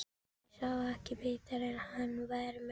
Ég sá ekki betur en að hann væri merkt